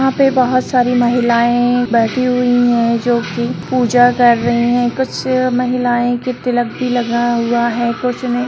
यहाँ पे बहुत सारी महिलाएं बैठी हुई है जो की पूजा कर रही है कुछ महिलाएं के तिलक भी लगा हुआ है कुछ ने--